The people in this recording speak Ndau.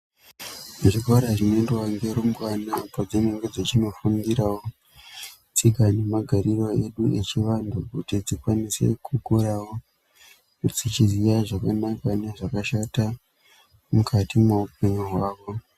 Zvikora zvinoendwa ngerumbwane padzinenge dzichindofundirawo tsika nemagariro echivantu kuti dzikwanise kukurawo dzichiziva zvakanaka nezvakashata mukati mehupenyu hwako.